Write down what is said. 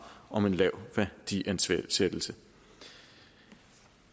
om en lav værdiansættelse